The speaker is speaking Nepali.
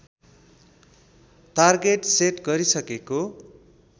तार्गेट सेट गरिसकेको